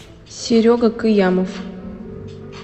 серега кыямов